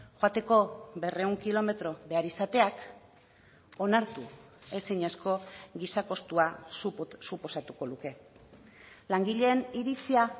joateko berrehun kilometro behar izateak onartu ezinezko giza kostua suposatuko luke langileen iritzia